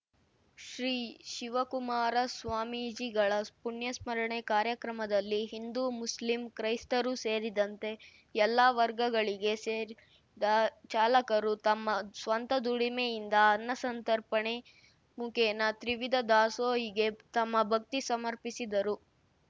ಶ್ರೀ ಶಿವಕುಮಾರ ಸ್ವಾಮೀಜಿಗಳ ಪುಣ್ಯಸ್ಮರಣೆ ಕಾರ್ಯಕ್ರಮದಲ್ಲಿ ಹಿಂದೂ ಮುಸ್ಲಿಂ ಕ್ರೈಸ್ತರು ಸೇರಿದಂತೆ ಎಲ್ಲ ವರ್ಗಗಳಿಗೆ ಸೇರಿದ ಚಾಲಕರು ತಮ್ಮ ಸ್ವಂತ ದುಡಿಮೆಯಿಂದ ಅನ್ನಸಂರ್ತಣೆ ಮುಖೇನ ತ್ರಿವಿಧ ದಾಸೋಹಿಗೆ ತಮ್ಮ ಭಕ್ತಿ ಸಮರ್ಪಿಸಿದರು